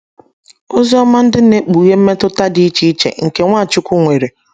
Oziọma ndị na - ekpughe mmetụta dị iche iche nke Nwachukwu nwere